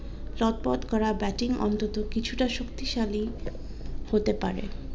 চম্পট করা batting অন্তত কিছুটা শক্তি শালী হতে পারে